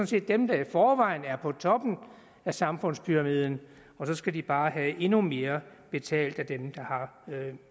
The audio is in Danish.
set dem der i forvejen er på toppen af samfundspyramiden og så skal de bare have endnu mere betalt af dem der har